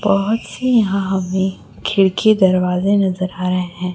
बहोत सी यहां में खिड़की दरवाजे नजर आ रहे हैं।